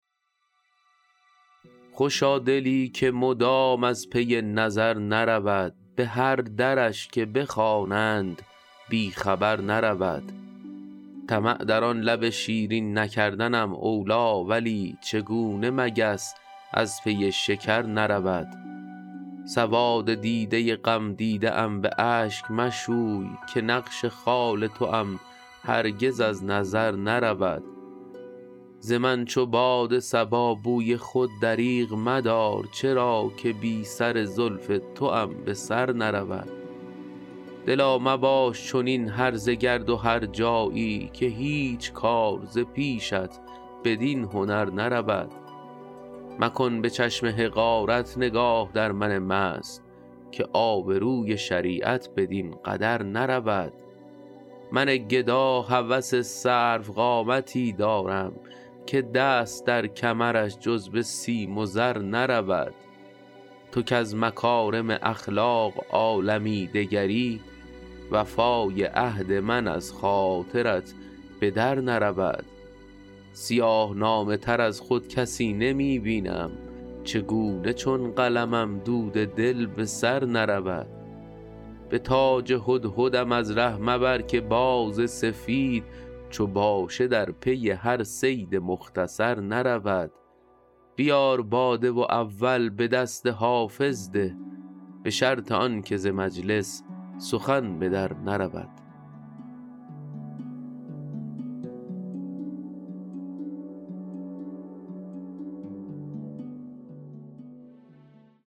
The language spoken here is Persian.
خوشا دلی که مدام از پی نظر نرود به هر درش که بخوانند بی خبر نرود طمع در آن لب شیرین نکردنم اولی ولی چگونه مگس از پی شکر نرود سواد دیده غمدیده ام به اشک مشوی که نقش خال توام هرگز از نظر نرود ز من چو باد صبا بوی خود دریغ مدار چرا که بی سر زلف توام به سر نرود دلا مباش چنین هرزه گرد و هرجایی که هیچ کار ز پیشت بدین هنر نرود مکن به چشم حقارت نگاه در من مست که آبروی شریعت بدین قدر نرود من گدا هوس سروقامتی دارم که دست در کمرش جز به سیم و زر نرود تو کز مکارم اخلاق عالمی دگری وفای عهد من از خاطرت به در نرود سیاه نامه تر از خود کسی نمی بینم چگونه چون قلمم دود دل به سر نرود به تاج هدهدم از ره مبر که باز سفید چو باشه در پی هر صید مختصر نرود بیار باده و اول به دست حافظ ده به شرط آن که ز مجلس سخن به در نرود